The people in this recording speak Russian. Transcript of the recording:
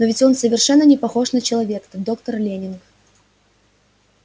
но ведь он совершенно не похож на человека доктор лэннинг